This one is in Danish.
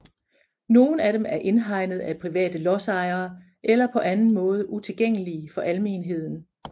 Nogle af dem er indhegnet af private lodsejere eller på anden måde utilgængelige for almenheden